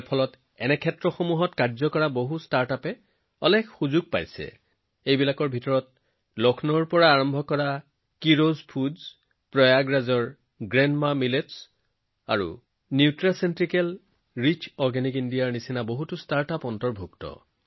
ইয়াৰ ফলত এই ক্ষেত্ৰত কাম কৰা ষ্টাৰ্টআপৰ বাবে কেইবাটাও সুযোগ পোৱা গৈছে যত লক্ষ্ণৌৰ কিৰোজ ফুডছ প্ৰয়াগৰাজৰ গ্ৰেণ্ডমা মিলেটছ আৰু নিউট্ৰাচিউটিকেল ৰিচ অৰ্গেনিক ইণ্ডিয়াৰ দৰে বহু ষ্টাৰ্টআপো আছে